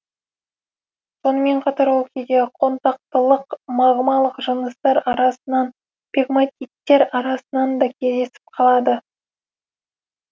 сонымен қатар ол кейде қонтақтылық магмалық жыныстар арасынан пегматиттер арасынан да кездесіп қалады